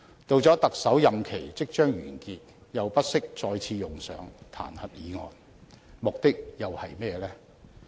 到了他的特首任期即將完結，又不惜再次用上彈劾議案，目的又是甚麼呢？